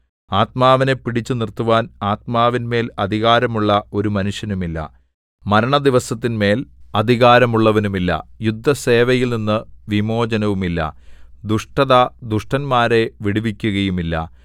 ആത്മാവിനെ പിടിച്ചു നിർത്തുവാൻ ആത്മാവിന്മേൽ അധികാരമുള്ള ഒരു മനുഷ്യനുമില്ല മരണദിവസത്തിന്മേൽ അധികാരമുള്ളവനുമില്ല യുദ്ധസേവയിൽനിന്ന് വിമോചനവുമില്ല ദുഷ്ടത ദുഷ്ടന്മാരെ വിടുവിക്കയുമില്ല